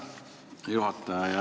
Hea juhataja!